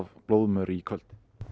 blóðmör í kvöld